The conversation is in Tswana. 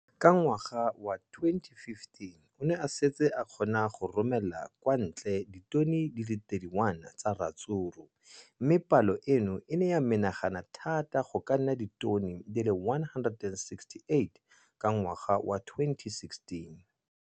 Ka ngwaga wa 2015, o ne a setse a kgona go romela kwa ntle ditone di le 31 tsa ratsuru mme palo eno e ne ya menagana thata go ka nna ditone di le 168 ka ngwaga wa 2016.